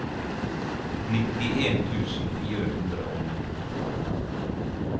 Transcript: nittien tusen fire hundre og ni